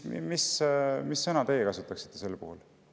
Mis sõna teie kasutaksite sel puhul?